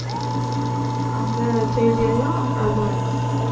அந்த செய்தியெல்லாம் போட்டிருந்தாங்க